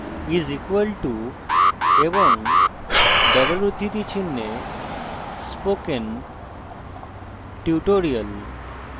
= এবং double উদ্ধৃতি চিনহে spokentutorial;